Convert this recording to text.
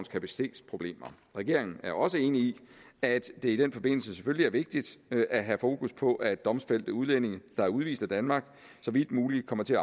kapacitetsproblemer regeringen er også enig i at det i den forbindelse selvfølgelig er vigtigt at have fokus på at domfældte udlændinge der er udvist af danmark så vidt muligt kommer til